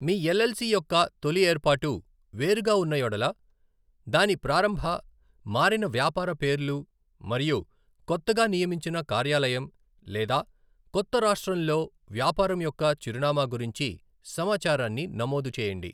మీ LLC యొక్క తొలి ఏర్పాటు, వేరుగా ఉన్న యెడల దాని ప్రారంభ, మారిన వ్యాపార పేర్లు మరియు కొత్తగా నియమించిన కార్యాలయం, లేదా కొత్త రాష్ట్రంలో వ్యాపారం యొక్క చిరునామా గురించి సమాచారాన్ని నమోదు చేయండి.